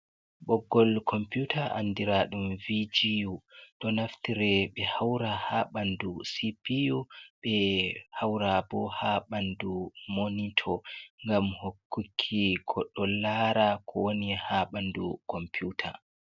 Ɓoggol kompiuta andiraɗum VGU, ɗo naftire be haura ha ɓandu CPU ɓe haura bo ha ɓaandu monito, ngam hokkuki goɗɗo laara ko wooni ha ɓandu kompiuta.